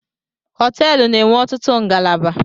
Họteelụ na-enwe ọtụtụ ngalaba